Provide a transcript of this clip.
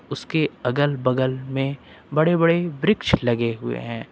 उसके अगल बगल में बड़े बड़े वृक्ष लगे हुए हैं।